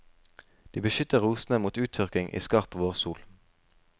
De beskytter rosene mot uttørking i skarp vårsol.